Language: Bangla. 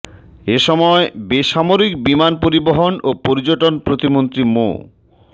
এ সময় বেসামরিক বিমান পরিবহন ও পর্যটন প্রতিমন্ত্রী মো